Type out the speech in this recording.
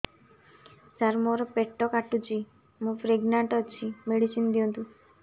ସାର ମୋର ପେଟ କାଟୁଚି ମୁ ପ୍ରେଗନାଂଟ ଅଛି ମେଡିସିନ ଦିଅନ୍ତୁ